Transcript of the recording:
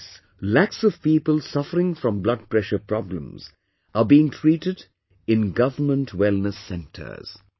Under this, lakhs of people suffering from blood pressure problems are being treated in government wellness centers